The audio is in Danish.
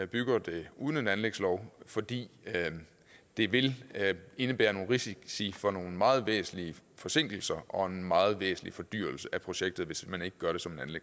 bygger det uden en anlægslov fordi det vil indebære nogle risici for nogle meget væsentlige forsinkelser og en meget væsentlig fordyrelse af projektet hvis man ikke gør